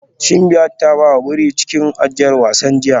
Simbiat ta ba wa biri a cikin ajiyar wasan jiya